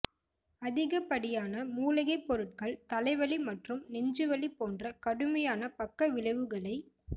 அதிகப்படியான மூலிகைப் பொருட்கள் தலைவலி மற்றும் நெஞ்சு வலி போன்ற கடுமையான பக்கவிளைவுகளை